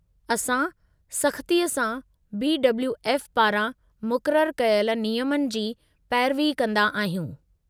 असां सख़्तीअ सां बी.डब्लू.एफ. पारां मुक़ररु कयल नियमनि जी पैरवी कंदा आहियूं।